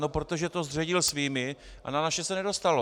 No protože to zředil svými a na naše se nedostalo.